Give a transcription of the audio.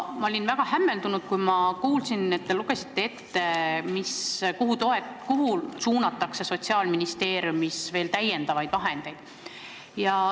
Ma olin väga hämmeldunud, kui kuulsin, et te lugesite siis ette, kuhu suunatakse Sotsiaalministeeriumis veel täiendavaid vahendeid.